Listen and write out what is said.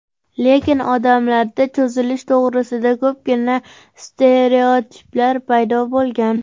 Lekin odamlarda cho‘zilish to‘g‘risida ko‘pgina stereotiplar paydo bo‘lgan.